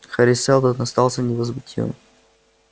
хари сэлдон остался невозмутимым